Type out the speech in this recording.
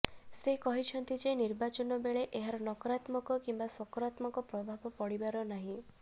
ସେ କହିଛନ୍ତି ଯେ ନିର୍ବାଚନ ବେଳେ ଏହାର ନକରାତ୍ମକ କିମ୍ବା ସକରାତ୍ମକ ପ୍ରଭାବ ପଡିବାର ନାହିଁ